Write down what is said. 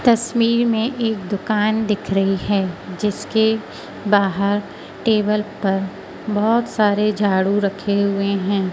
तस्वीर में एक दुकान दिख रही है जिसके बाहर टेबल पर बहुत सारे झाड़ू रखे हुए हैं।